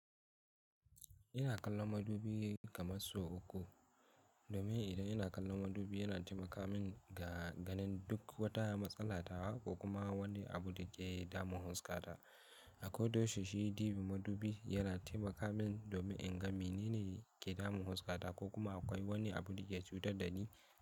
Ina kallon madubi kamar sau uku. Domin idan ina kallon madubi yana taimaka min ga ganin duk wata matsala ta wa ko kuma wani abu da ke damun Huska ta. Akwai doshi shi ɗibi madubi yana taimaka min domin in ga menene ke damun huska ta ko kuma akwai wani abu da ya cutar da ni.